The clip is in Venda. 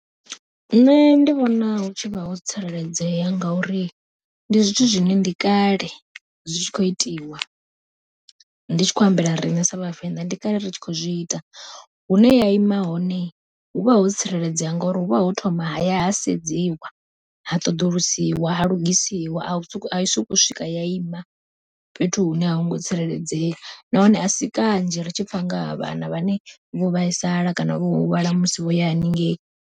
Nṋe ndi vhona hu tshi vha ho tsireledzea ngauri, ndi zwithu zwine ndi kale zwi tshi khou itiwa ndi tshi khou ambela riṋe sa vhavenḓa ndi kale ri tshi khou zwi ita. Hune ya ima hone huvha ho tsireledzea ngauri huvha ho thoma haya ha sedziwa ha ṱoḓulusiwa, ha lugisiwa ai swika ya sokou ima fhethu hune a hungo tsireledzea, nahone asi kanzhi ri tshi pfha nga ha vhana vhane vho vhaisala kana vho huvhala musi vhoya haningei.